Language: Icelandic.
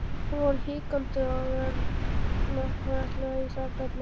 Hann fór hikandi og varfærnislega í sakirnar.